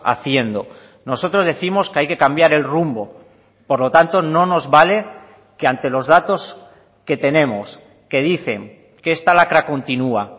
haciendo nosotros décimos que hay que cambiar el rumbo por lo tanto no nos vale que ante los datos que tenemos que dicen que esta lacra continua